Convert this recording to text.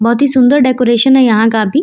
बहुत ही सुंदर डेकोरेशन है यहां का भी।